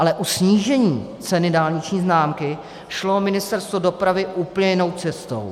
Ale u snížení ceny dálniční známky šlo Ministerstvo dopravy úplně jinou cestou.